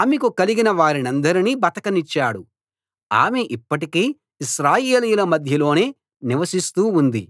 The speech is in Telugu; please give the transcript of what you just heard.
ఆమెకు కలిగిన వారినందరినీ బతకనిచ్చాడు ఆమె ఇప్పటికీ ఇశ్రాయేలీయుల మధ్యలోనే నివసిస్తూ ఉంది